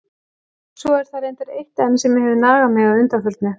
Svo er það reyndar eitt enn sem hefur nagað mig að undanförnu.